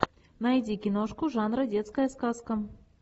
найди киношку жанра детская сказка